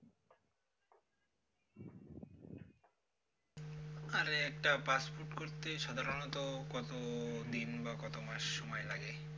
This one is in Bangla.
আর একটা passport করতে সাধারনত কতদিন বা কত মাস সময় লাগে